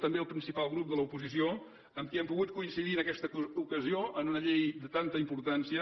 també al principal grup de l’oposició amb qui hem pogut coincidir en aquesta ocasió en una llei de tanta importància